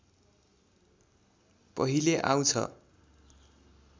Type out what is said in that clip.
पहिले आउँछ